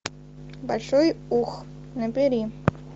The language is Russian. большой ух набери